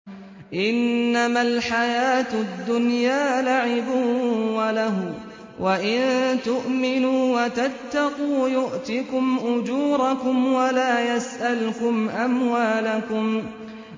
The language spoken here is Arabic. إِنَّمَا الْحَيَاةُ الدُّنْيَا لَعِبٌ وَلَهْوٌ ۚ وَإِن تُؤْمِنُوا وَتَتَّقُوا يُؤْتِكُمْ أُجُورَكُمْ وَلَا يَسْأَلْكُمْ أَمْوَالَكُمْ